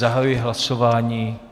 Zahajuji hlasování.